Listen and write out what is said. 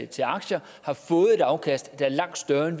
til aktier har fået et afkast der er langt større end